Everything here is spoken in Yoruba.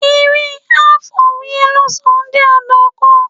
Eré "Half of a Yellow Sun" jẹ́ àdàkọ.